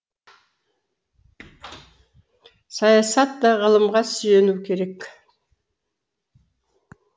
саясат та ғылымға сүйенуі керек